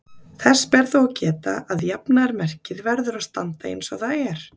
Þess ber þó að geta að jafnaðarmerkið verður að standa eins og það er.